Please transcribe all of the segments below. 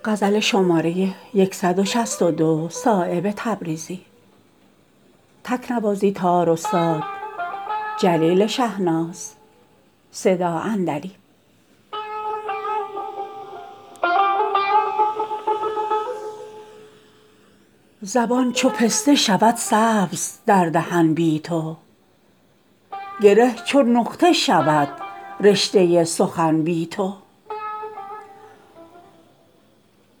شکفتگی نشود سبز در چمن بی تو به اشک شمع زند غوطه انجمن بی تو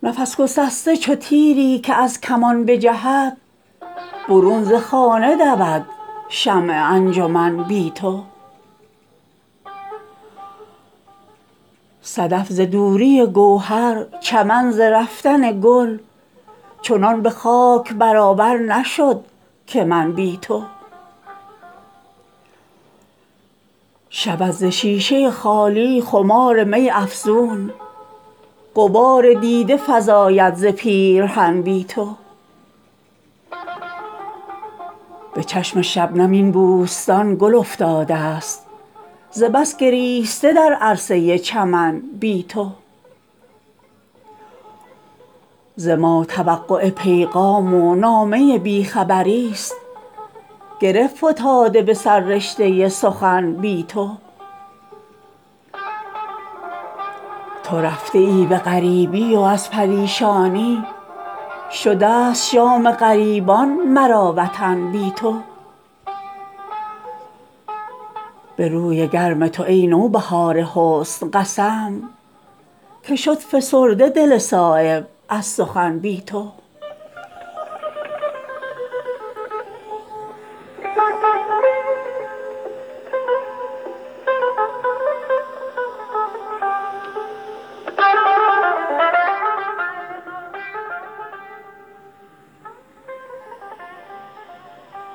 عنان برق و نسیم خزان و سیل بهار نرفته اند ز دست آنچنان که من بی تو ز شبنم و چمن بود تازه رو چون گل شده است برگ خزان دیده ای چمن بی تو بگیر پرده ز رخسار لاله زار و ببین که کاسه کاسه خون می خورد چمن بی تو گل حضور وطن بوده است دیدن دوست حضور دل به سفر رفت از وطن بی تو ز ما توقع پیغام و نامه بی خبری است گره فتاده به سررشته سخن بی تو به چشم شبنم این بوستان گل افتاده است ز بس گریسته در عرصه چمن بی تو به می گریختم از هجر تلخ ازین غافل که داغ تازه کند باده کهن بی تو جدا ز آینه طوطی سخن نمی گوید چگونه صایب انشا کند سخن بی تو